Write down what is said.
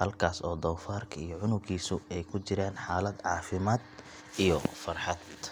halkaas oo doofaarka iyo cunuggiisu ay ku jiraan xaalad caafimaad iyo farxad.